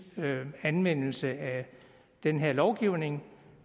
anvendelse af den her lovgivning